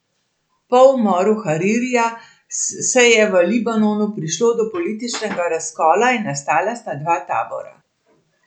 Po umoru Haririja se je v Libanonu prišlo do političnega razkola in nastala sta dva tabora.